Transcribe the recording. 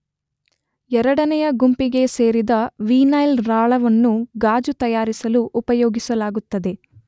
ಎರಡನೆಯ ಗುಂಪಿಗೆ ಸೇರಿದ ವೀನೈಲ್ ರಾಳವನ್ನು ಗಾಜು ತಯಾರಿಸಲು ಉಪಯೋಗಿಸಲಾಗುತ್ತದೆ